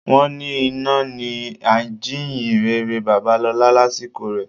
Wọ́n ni iná ni ajíyìnrere Babalọlá lásìkò rẹ.